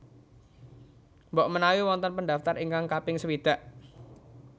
Mbok menawi wonten pendaftar ingkang kaping sewidak